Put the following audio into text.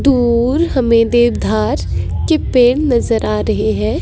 दूर हमें देवधार के पेड़ नजर आ रहे हैं।